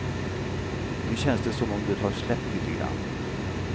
Nu känns det som om det har släppt lite grand.